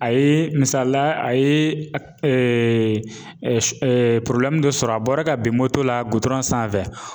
A ye misaliya a ye dɔ sɔrɔ a bɔra ka bin la sanfɛ